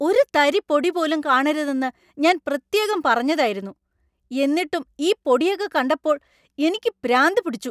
ഒരു തരി പൊടി പോലും കാണരുതെന്ന് ഞാൻ പ്രത്യേകം പറഞ്ഞതായിരുന്നു. എന്നിട്ടും ഈ പൊടിയൊക്കെ കണ്ടപ്പോൾ എനിക്ക് പിരാന്ത് പിടിച്ചു.